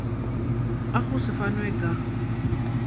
a go se fanwe ka